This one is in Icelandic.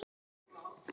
Veik er sú von.